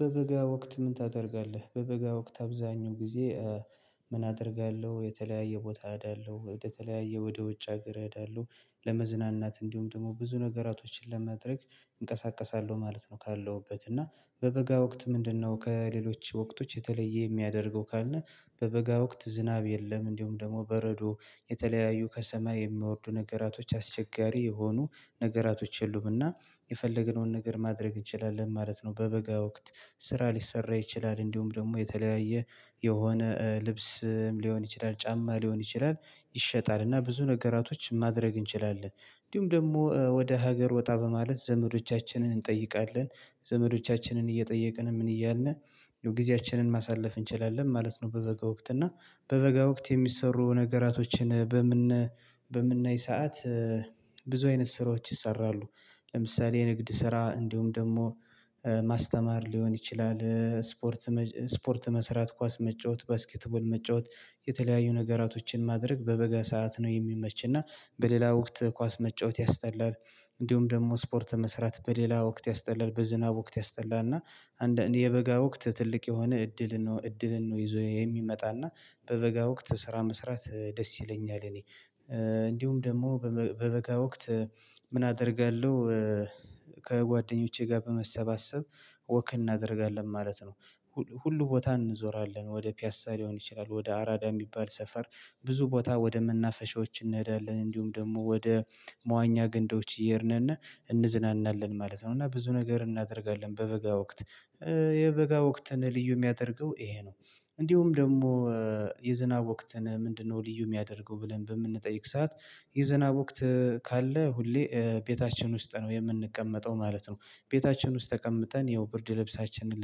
በበጋ ወቅት ምን ታደርጋለህ? በበጋ ወቅት አብዛኛው ጊዜ። ምን አደርጋለሁ የተለያየ ቦታ እሄዳለው ወደ ተለያየ ወደ ውጭ ሀገር እሄዳለው። ለመዝናናት እንዲሁም ደግሞ ብዙ ነገራቶችን ለማድረግ እንቀሳቀሳለሁ ማለት ነው። ካለሁበት እና በበጋ ወቅት ምንድነው ከሌሎች ወቅቶች የተለየ የሚያደርገው ካልን? በበጋ ወቅት ዝናብ የለም። እንዲሁም ደግሞ በረዶ የተለያዩ ከሰማይ የሚወርዱ ነገራቶች አስቸጋሪ የሆኑ ነገራቶች የሉምና። የፈለገነውን ነገር ማድረግ እንችላለን ማለት ነው። በበጋ ወቅት ስራ ሊሰራ ይችላል እንዲሁም ደግሞ የተለያየ የሆነ ልብስም ሊሆን ይችላል ጫማ ሊሆን ይችላል። ይሸጣል እና ብዙ ነገራቶች ማድረግ እንችላለን። እንዲሁም ደግሞ ወደ ሀገር ወጣ በማለት ዘመዶቻችንን እንጠይቃለን። ዘመዶቻችንን እየጠየቅን ምን እያልን ጊዜያችንን ማሳለፍ እንችላለን ማለት ነው። በበጋ ወቅት እና በበጋ ወቅት የሚሰሩ ነገራቶችን በምን በምናይ ሰዓት? ብዙ አይነት ስራዎች ይሰራሉ። ለምሳሌ ንግድ ስራ እንዲሁም ደግሞ ማስተማር ሊሆን ይችላል። ስፖርት መስራት ኳስ መጫወት ባስኬት ቦል መጫወት። የተለያዩ ነገራቶችን ማድረግ በበገ ሰዓት ነው የሚመች እና በሌላ ወቅት ኳስ መጫወት ያስጠላል። እንዲሁም ደግሞ ስፖርት መስራት በሌላ ወቅት ያስጠላል በዝናብ ወቅት ያስጠላል እና። የበጋ ወቅት ትልቅ የሆነ እድልን ነው እድልን ነው ይዞ የሚመጣና በበጋ ወቅት ስራ መስራት ደስ ይለኛል። እኔ እንዲሁም ደግሞ በበጋ ወቅት ምን አደርጋለሁ? ከጓደኞቼ ጋር በመሰባሰብ ወክ እናደርጋለን ማለት ነው። ሁሉ ቦታ እንዞራለን ወደ ፒያሳ ሊሆን ይችላል ወደ አራዳ የሚባል ሰፈር ብዙ ቦታ ወደ መናፈሻዎች እንሄዳለን እንዲሁም ደግሞ ወደ መዋኛ ገንዶች እየሄድን እና እንዝናናለን ማለት ነው። እና ብዙ ነገር እናደርጋለን በበጋ ወቅት የበጋ ወቅትን ልዩ የሚያደርገው ይሄ ነው። እንዲሁም ደግሞ የዝናብ ወቅትን ምንድነው? ልዩ የሚያደርገው ብለን በምንጠይቅ ሰዓት የዝናብ ወቅት ካለ ሁሌ ቤታችን ውስጥ ነው የምንቀመጠው ማለት ነው። ቤታችን ውስጥ ተቀምጠን ይኸው ብርድ ልብሳችንን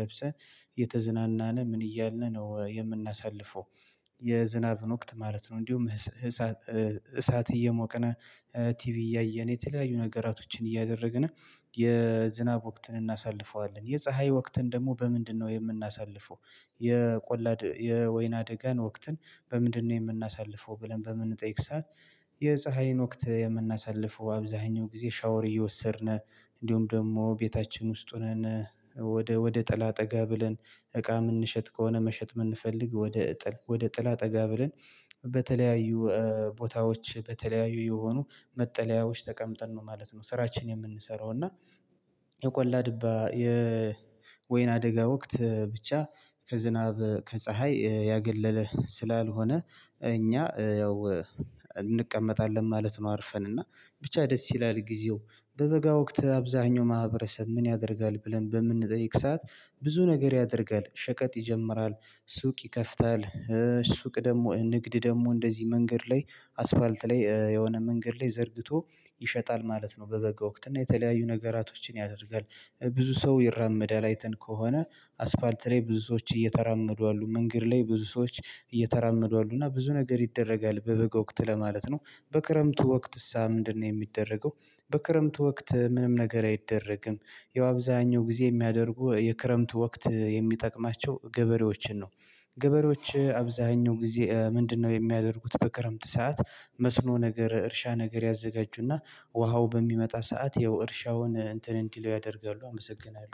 ለብሰን እየተዝናናን ምን እያልን ነው የምናሳልፈው። የዝናብን ወቅት ማለት ነው። እንዲሁም እሳት እየሞቀና ቲቪ እያየን የተለያዩ ነገራቶችን እያደረግና የዝናብ ወቅትን እናሳልፈዋለን። የፀሀይ ወቅትን ደግሞ በምንድነው የምናሳልፈው? የቆላ የወይን አደጋ ወቅትን? በምንድነው የምናሳልፈው ብለን በምንጠይቅ ሰዓት? የፀሀይን ወቅት የምናሳልፈው አብዛኛው ጊዜ ሻወር እየወሰድን እንዲሁም ደግሞ ቤታችን ውስጥ ሆነን ወደ ወደ ጠላት ጠጋ ብለን እቃ የምንሸጥ ከሆነ መሸጥ የምንፈልግ። ወደ ጥላ ጠጋ ብለን በተለያዩ ቦታዎች በተለያዩ የሆኑ መጠለያዎች ተቀምጠን ነው ማለት ነው። ስራችን የምንሰራው እና። የቆላ ድባ የወይን አደጋ ወቅት ብቻ ከዝናብ ከፀሀይ ያገለለ ስላልሆነ እኛ ያው እንቀመጣለን ማለት ነው። አርፈን እና ብቻ ደስ ይላል። ጊዜው በበጋ ወቅት አብዛኛው ማህበረሰብ ምን ያደርጋል ብለን በምንጠይቅ ሰዓት? ብዙ ነገር ያደርጋል ሸቀጥ ይጀምራል ሱቅ ይከፍታል ሱቅ ደግሞ ንግድ ደግሞ እንደዚህ መንገድ ላይ አስፋልት ላይ የሆነ መንገድ ላይ ዘርግቶ ይሸጣል ማለት ነው። በበጎ ወቅት እና የተለያዩ ነገራቶችን ያደርጋል ብዙ ሰው ይራመዳል አይተን ከሆነ አስፋልት ላይ ብዙ ሰዎች እየተራመዱ አሉ መንገድ ላይ ብዙ ሰዎች እየተራመዱ አሉ እና ብዙ ነገር ይደረጋል በበገ ወቅት ለማለት ነው። በክረምቱ ወቅትስ ምንድነው የሚደረገው? በክረምቱ ወቅት ምንም ነገር አይደረግም። ያው አብዛኛው ጊዜ የሚያደርጉ የክረምቱ ወቅት የሚጠቅማቸው ገበሬዎችን ነው። ገበሬዎች አብዛኛው ጊዜ ምንድነው የሚያደርጉት? በክረምት ሰዓት መስኖ ነገር እርሻ ነገር ያዘጋጁና ውሃው በሚመጣ ሰዓት ያው እርሻውን እንትን እንዲለው ያደርጋሉ። አመሰግናለሁ